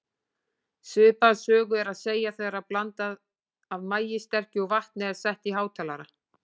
Svipaða sögu er að segja þegar blanda af maíssterkju og vatni er sett á hátalara.